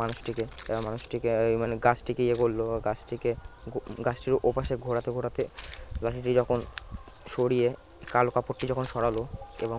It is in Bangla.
মানুষটিকে মানুষটিকে মানে গাছটিকে ইয়ে করলো গাছটিকে ঘো গাছটিকে ওপাশে ঘোরাতে ঘোরাতে লাঠিটি যখন কাল যখন সরিয়ে কালো কাপড়টা যখন সরালো এবং